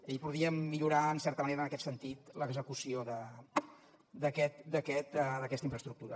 i podríem millorar en certa manera en aquest sentit l’execució d’aquesta infraestructura